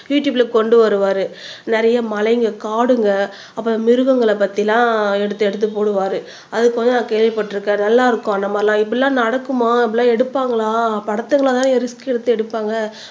யுடுயூப்ல கொண்டு வருவாரு நிறைய மலைங்க காடுங்க அப்புறம் மிருகங்களை பத்தி எல்லாம் எடுத்து எடுத்து போடுவாரு நான் கேள்விப்பட்டிருக்கேன் நல்லா இருக்கும் அந்த மாரியெல்லாம் இப்படியெல்லாம் நடக்குமா அப்படியெல்லாம் எடுப்பாங்களா படத்துங்களைதானே ரிஸ்க் எடுத்து எடுப்பாங்க